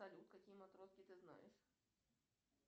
салют какие матроски ты знаешь